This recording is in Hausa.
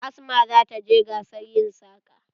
Asma za ta je gasar yin saƙa.